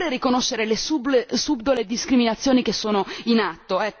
Oppure riconoscere le subdole discriminazioni che sono in atto?